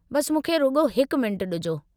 बसि मूंखे रुॻो हिकु मिंटु ॾिजो।